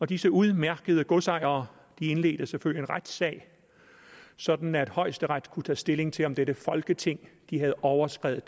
disse udmærkede godsejere indledte selvfølgelig en retssag sådan at højesteret kunne tage stilling til om dette folketing havde overskredet